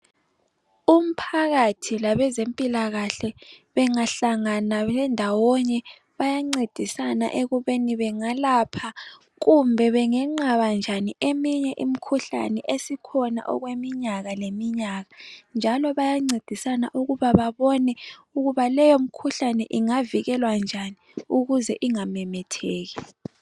Umphakathi labezempilakahle bengahlangana bendawonye bayancedisana ekubeni bengalapha kumbe bengenqaba njani eminye imkhuhlane esikhona okweminyaka leminyaka njalo bayancedisana ukuba babone ukuba leyomikhuhlane ingavikelwa njani ukuze ingamemetheki.